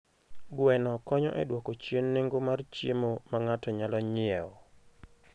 Gweno konyo e dwoko chien nengo mar chiemo ma ng'ato nyalo nyiewo.